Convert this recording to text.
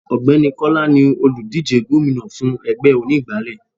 Ògbẹ́ni Kọ́lá ni òlùdíje gómìnà fún ẹgbẹ́ onígbálé.